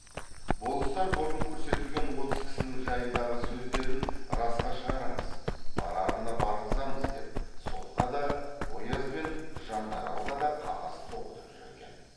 болыстар бұрын көрсетілген отыз кісінің жайындағы сөздерін расқа шығарамыз барарына барғызамыз деп сотқа да ояз бен жандаралға да қағаз тоғытып жүр екен